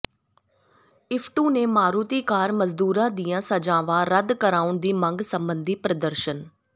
ਇਫਟੂ ਨੇ ਮਾਰੂਤੀ ਕਾਰ ਮਜ਼ਦੂਰਾਂ ਦੀਆਂ ਸਜਾਵਾਂ ਰੱਦ ਕਰਵਾਉਣ ਦੀ ਮੰਗ ਸਬੰਧੀ ਪ੍ਰਦਰਸ਼ਨ